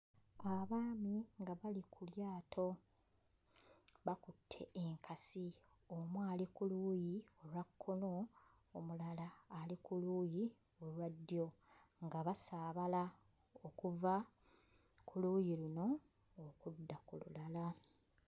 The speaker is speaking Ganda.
Abaami nga bali ku lyato bakutte enkasi omu ali ku luuyi olwa kkono omulala ali ku luuyi olwa ddyo nga basaabala okuva ku luuyi luno okudda ku lulala.